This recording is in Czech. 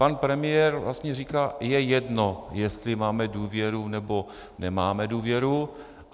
Pan premiér vlastně říkal: je jedno, jestli máme důvěru, nebo nemáme důvěru.